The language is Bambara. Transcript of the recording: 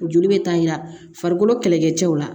Joli bɛ taa yira farikolo kɛlɛkɛcɛw la